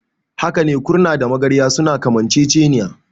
Hakane, kurna da magarya suna kamanceceniya.